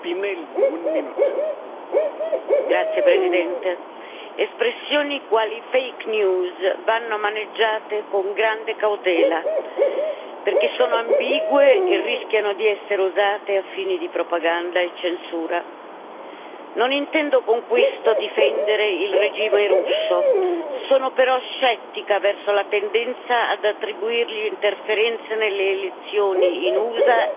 Signor Presidente, onorevoli colleghi, espressioni quali fake news vanno maneggiate con grande cautela, perché sono ambigue e rischiano di essere usate a fini di propaganda e censura. Non intendo con questo difendere il regime russo, sono però scettica verso la tendenza ad attribuirgli interferenze nelle elezioni in USA ed Europa.